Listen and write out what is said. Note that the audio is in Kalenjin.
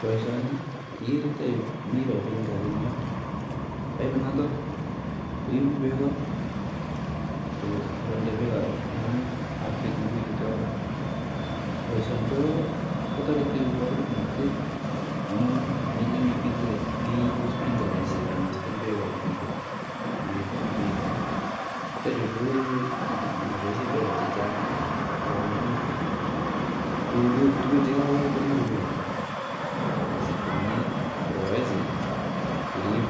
Boisioni, mi piput nekabun yon nenotok koibu beek akonde ng'wonyut ab kitunguik .Boisioni ko toreti wakulima amun melen iibu sprinklaisiek ibiten, chu komoboisien pesa chechang' ako tuguk chekakikol konyoru beek akirib